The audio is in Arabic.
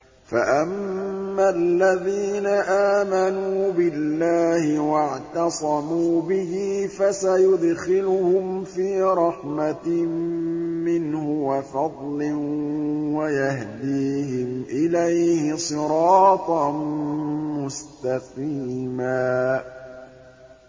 فَأَمَّا الَّذِينَ آمَنُوا بِاللَّهِ وَاعْتَصَمُوا بِهِ فَسَيُدْخِلُهُمْ فِي رَحْمَةٍ مِّنْهُ وَفَضْلٍ وَيَهْدِيهِمْ إِلَيْهِ صِرَاطًا مُّسْتَقِيمًا